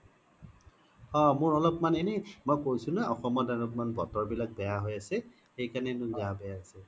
অ মোৰ অল্প্মান এনে মই কৈছো নে অসমত অলপ মান বতৰ বিলাক বেয়া হৈ আছে সেইকাৰণে মোৰ গা বেয়া হৈছে